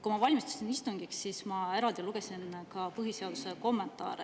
Kui ma valmistusin istungiks, siis ma lugesin ka põhiseaduse kommentaare.